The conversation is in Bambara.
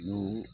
N'o